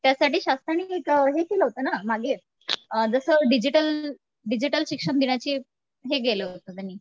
त्यासाठी शासनाने एक हे केलं होतं ना मागे अ जसं डिजिटल डिजिटल शिक्षण देण्याचे हे केलं होतं त्यांनी